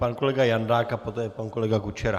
Pan kolega Jandák a poté pan kolega Kučera.